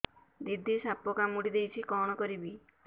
ଦିଦି ସାପ କାମୁଡି ଦେଇଛି କଣ କରିବି